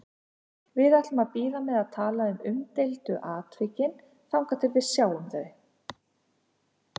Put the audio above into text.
Við ætlum að bíða með að tala um umdeildu atvikin þangað til við sjáum þau.